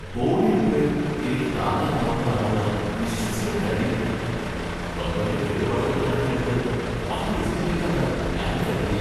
Body repair എനിക്ക് താങ്ങാനാവുന്നതാണെന്ന് വിശ്വസിക്കാൻ കഴിയുന്നില്ല! ബമ്പറിന്റെ കേടുപാടുകൾ കണക്കിലെടുത്ത് വലിയ എസ്റ്റിമേറ്റാണ് ഞാന് കരുതിയേ.